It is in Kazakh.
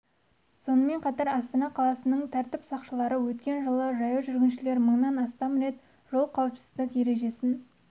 сонымен қатар астана қаласының тәртіп сақшылары өткен жылы жаяу жүргіншілер мыңнан астам рет жол қауіпсіздік ережесін